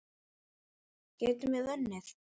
Getum við unnið?